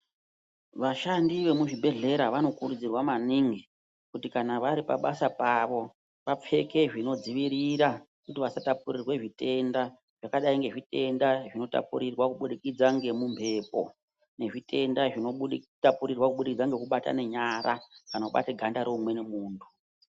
Vashandi vemuzvibhedhlera vanokurudzirwa maningi kuti kana vari pabasa pavo vapfeke zvinodzivirira kuti vasatapurirwe zvitenda. Zvakadai ngezvitenda zvinotapurirwa kubudikidza ngemumwepo nezvitenda zvinotapurirwa kubudikidza nekubatana nyara. Kana kabata ganda reumweni muntu.